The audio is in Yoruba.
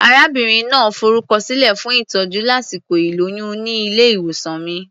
Arábìnrin náà forúkọsílẹ̀ fún ìtọ́jú lásìkò ìlóyún ní ilé-ìwòsàn mi.